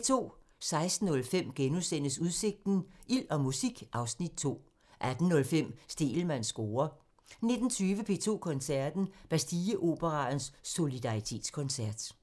16:05: Udsigten – Ild og musik (Afs. 2)* 18:05: Stegelmanns score (tir) 19:20: P2 Koncerten – Bastilleoperaens Solidaritetskoncert